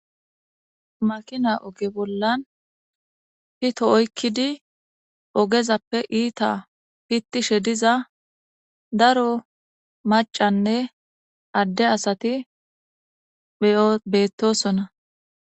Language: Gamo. Makina oge bollan pito oykidi ogezape iita pitishe diza daro macane adde asati beetosona.